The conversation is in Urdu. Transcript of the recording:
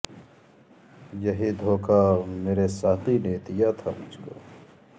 یہ ہی دھوکا مرے ساقی نے دیا تھا مجھ کو